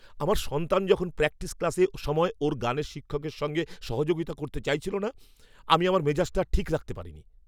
আমার সন্তান যখন প্র্যাকটিস ক্লাসের সময় ওর গানের শিক্ষকের সঙ্গে সহযোগিতা করতে চাইছিল না আমি আমার মেজাজটা আর ঠিক রাখতে পারিনি।